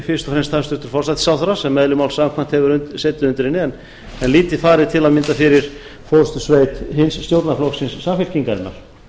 fyrst og fremst hæstvirtur forsætisráðherra sem eðli málsins samkvæmt hefur setið undir henni en lítið farið til að mynda fyrir forustusveit hins stjórnmálaflokksins samfylkingarinnar